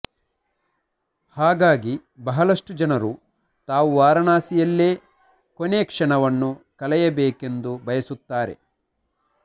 ಹಾಗಾಗಿ ಬಹಳಷ್ಟು ಜನರು ತಾವು ವಾರಣಾಸಿಯಲ್ಲೇ ಕೊನೆಕ್ಷಣವನ್ನು ಕಳೆಯಬೇಕೆಂದು ಬಯಸುತ್ತಾರೆ